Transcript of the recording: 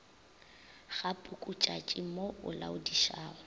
ga pukutšatši mo o laodišago